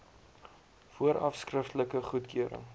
vooraf skriftelike goedkeuring